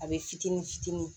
A bɛ fitini fitini